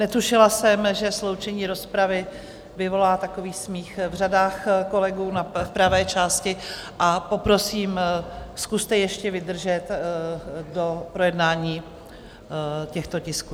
Netušila jsem, že sloučení rozpravy vyvolá takový smích v řadách kolegů v pravé části, a poprosím, zkuste ještě vydržet do projednání těchto tisků.